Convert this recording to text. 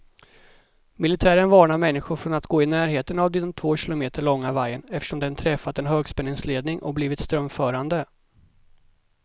Militären varnar människor från att gå i närheten av den två kilometer långa vajern, eftersom den träffat en högspänningsledning och blivit strömförande.